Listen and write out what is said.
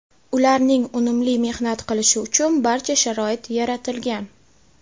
Ularning unumli mehnat qilishi uchun barcha sharoit yaratilgan.